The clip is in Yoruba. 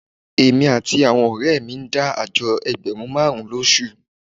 Èmi àti àwọn ọ̀rẹ́ mi mẹ́rin ń dá àjọ ẹgbẹ̀rún márùn-ún lóṣù